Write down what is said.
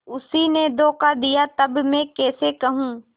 उसी ने धोखा दिया तब मैं कैसे कहूँ